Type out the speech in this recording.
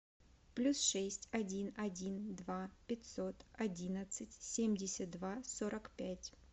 плюс шесть один один два пятьсот одиннадцать семьдесят два сорок пять